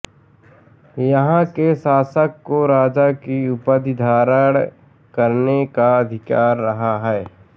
यहाँ के शासक को राजा की उपाधि धारण करने का अधिकार रहा है